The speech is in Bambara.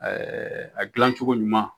a dila cogo ɲuman